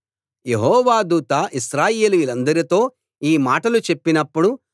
యెహోవా దూత ఇశ్రాయేలీయులందరితో ఈ మాటలు చెప్పినప్పుడు